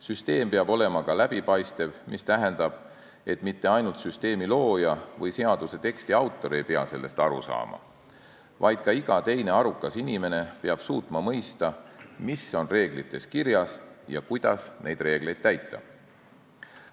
Süsteem peab olema ka läbipaistev, mis tähendab, et mitte ainult süsteemi looja või seaduse teksti autor ei pea sellest aru saama, vaid ka iga teine arukas inimene peab suutma mõista, mis on reeglites kirjas ja kuidas neid reegleid tuleb täita.